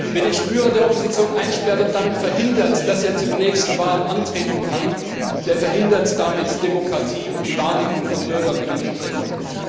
Wer den Führer der Opposition einsperrt und damit verhindert, dass er zu den nächsten Wahlen antreten kann, der verhindert damit Demokratie und die Wahrnehmung von Bürger und Menschenrechten.